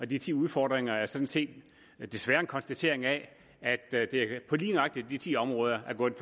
de ti udfordringer er sådan set desværre en konstatering af at at det lige nøjagtig på de ti områder er gået